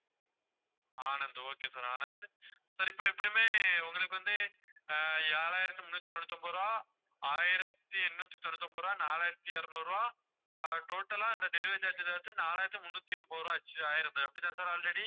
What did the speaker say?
Anand okay sir Anand sir இப்ப எப்படியுமே உங்களுக்கு வந்து ஆஹ் ஏழாயிரத்தி முன்னூத்தி தொண்ணூத்தி ஒன்பது ரூபாய் ஆயிரத்தி எண்ணூத்தி தொண்ணூத்தி ஒன்பது ரூபாய் நாலாயிரத்தி இருநூறு ரூபாய் ஆஹ் total ஆ அந்த delivery charges வந்து நாலாயிரத்தி முன்னூத்தி எண்பது ரூபாய் ஆச்சு ஆயறது அப்படிதான sir already